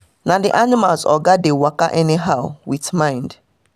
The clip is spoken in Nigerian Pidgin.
na the animals oga dey waka any how with mind